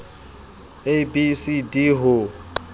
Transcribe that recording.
a b c d ho